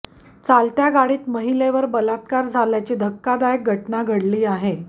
चालत्या गाडीत महिलेवर बलात्कार झाल्याची धक्कादायक घटना घडली आहे